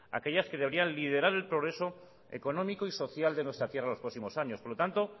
aquellas que deberían liderar el progreso económico y social de nuestra tierra en los próximos años por lo tanto